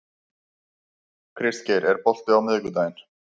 Kristgeir, er bolti á miðvikudaginn?